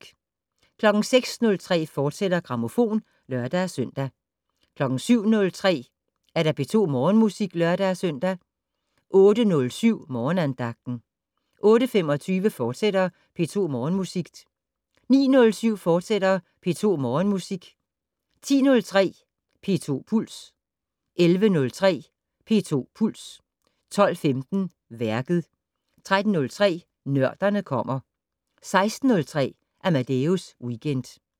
06:03: Grammofon, fortsat (lør-søn) 07:03: P2 Morgenmusik (lør-søn) 08:07: Morgenandagten 08:25: P2 Morgenmusik, fortsat 09:07: P2 Morgenmusik, fortsat 10:03: P2 Puls 11:03: P2 Puls 12:15: Værket 13:03: Nørderne kommer 16:03: Amadeus Weekend